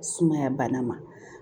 Sumaya bana ma